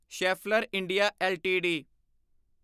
Schaeffler India LTD